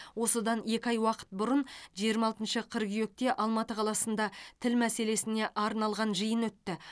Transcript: осыдан екі ай уақыт бұрын жиырма алтыншы қыркүйекте алматы қаласында тіл мәселесіне арналған жиын өтті